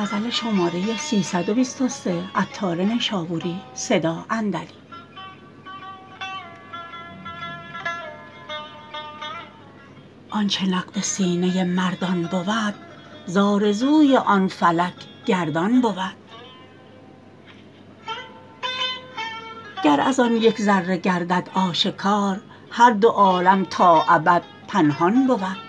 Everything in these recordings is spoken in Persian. آنچه نقد سینه مردان بود زآرزوی آن فلک گردان بود گر از آن یک ذره گردد آشکار هر دو عالم تا ابد پنهان بود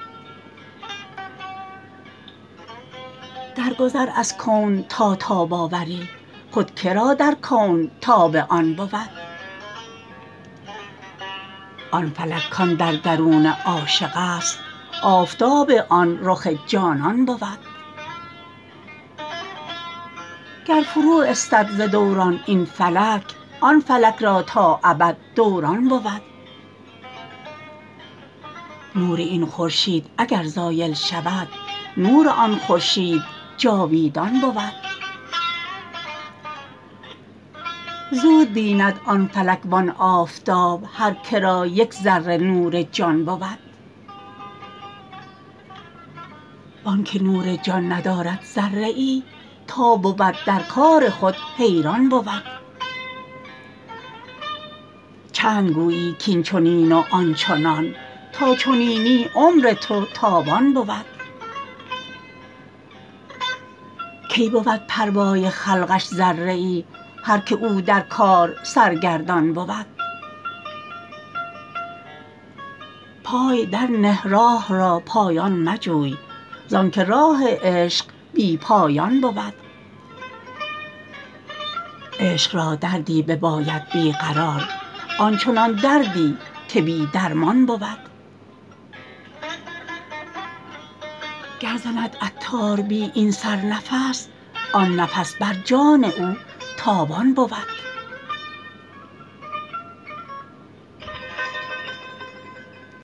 در گذر از کون تا تاب آوری خود که را در کون تاب آن بود آن فلک کان در درون عاشق است آفتاب آن رخ جانان بود گر فرو استد ز دوران این فلک آن فلک را تا ابد دوران بود نور این خورشید اگر زایل شود نور آن خورشید جاویدان بود زود بیند آن فلک و آن آفتاب هر که را یک ذره نور جان بود وانکه نور جان ندارد ذره ای تا بود در کار خود حیران بود چند گویی کین چنین و آن چنان تا چنینی عمر تو تاوان بود کی بود پروای خلقش ذره ای هر که او در کار سرگردان بود پای در نه راه را پایان مجوی زانکه راه عشق بی پایان بود عشق را دردی بباید بی قرار آن چنان دردی که بی درمان بود گر زند عطار بی این سر نفس آن نفس بر جان او تاوان بود